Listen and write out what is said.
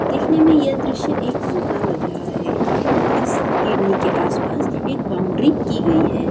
दिखने में यह दृश्य एक जू का लग रहा है इस हिरनी के आसपास एक बाउंड्री की गई है।